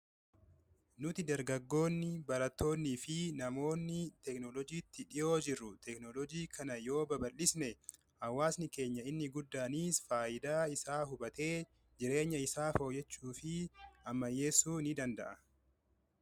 nuti dargagoonni baratoonii fi namoonni teeknolojiitti dhihoo jirru teeknolojii kana yoo baballisne awaasni keenya inni guddaaniis faayidaa isaa hubatee jireenya isaa fooyyechuu fi amayyeessuu ni danda'a